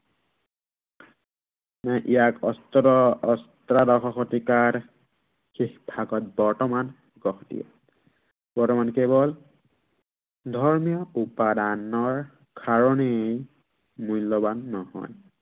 মানে ইয়াৰ অষ্ট্ৰ অষ্টদশ শতিকাৰ শেষ ভাগত বৰ্তমান গঢ় দিয়ে। বৰ্তমান কেৱল ধৰ্মীয় উপাদানৰ কাৰনেই, মূল্য়ৱান নহয়।